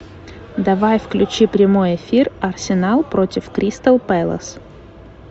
давай включи прямой эфир арсенал против кристал пэлас